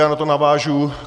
Já na to navážu.